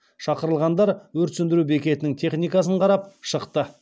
шақырылғандар өрт сөндіру бекетінің техникасын қарап шықты